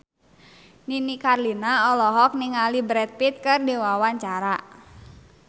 Nini Carlina olohok ningali Brad Pitt keur diwawancara